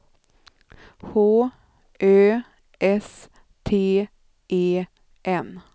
H Ö S T E N